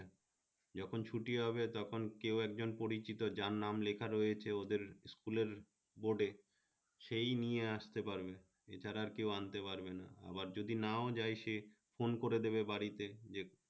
যখন ছুটি হবে তখন কেউ একজন পরিচিত যার নাম লেখা রয়েছে ওদের school এর board এ সেই নিয়ে আসতে পারবে এ ছাড়া কেউ আনতে পারবে না আবার যদি নাও যায় সে phone করে দেবে বাড়িতে যে